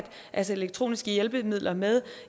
altså elektroniske hjælpemidler med